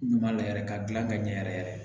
Ɲuman lajɛ yɛrɛ ka gilan ka ɲɛ yɛrɛ yɛrɛ